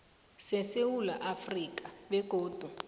sesewula afrika begodu